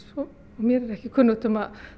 mér ekki kunnugt um